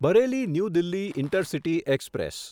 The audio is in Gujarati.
Bareilly New Delhi intercity express